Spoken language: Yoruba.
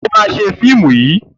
O ma ṣe fíìmù yìí!